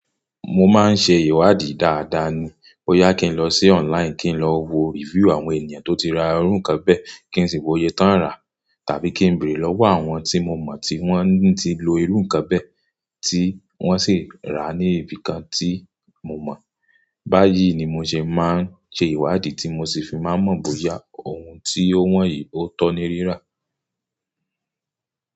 Mo máa ń ṣe ìwádìí dáadáa ni. Ó yá kí n lọ sí online kí n lọ wo review àwọn ènìyàn tó ti ra irú nǹkan bẹ́ kí n sì wo òye tó ń rà, tàbí kí n bèrè lọ́wọ́ àwọn tí mo mọ̀ tí wọ́n ti lo irú nǹkan bẹ́ tí wọ́n sì rà ní ibìkan tí mo mọ̀. Báyìí ni mo ṣe máa ń ṣe ìwádìí tí mo sì fi máa ń mọ̀ bóyá ohun tí ó wọ̀nyí ó tọ́ni rírà.